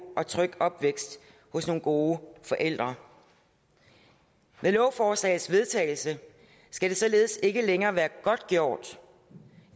og tryg opvækst hos nogle gode forældre med lovforslagets vedtagelse skal det således ikke længere være godtgjort